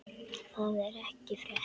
Það er ekki frétt.